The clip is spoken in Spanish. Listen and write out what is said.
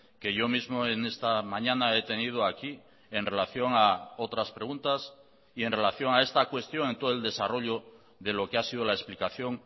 que yo mismo en esta mañana he tenido aquí en relación a otras preguntas y en relación a esta cuestión en todo el desarrollo de lo que ha sido la explicación